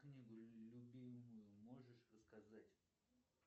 книгу любимую можешь рассказать